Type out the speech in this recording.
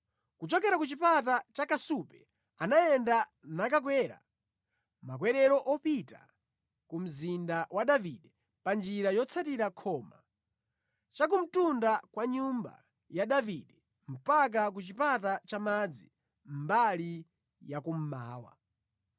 Kuchokera ku Chipata cha Kasupe anayenda nakakwera makwerero opita ku mzinda wa Davide pa njira yotsatira khoma, chakumtundu kwa nyumba ya Davide mpaka ku Chipata cha Madzi, mbali ya kummawa.